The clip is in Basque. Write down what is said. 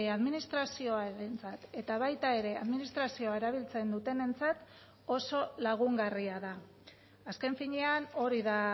administrazioarentzat eta baita administrazioa erabiltzen dutenentzat ere oso lagungarria da azken finean hori da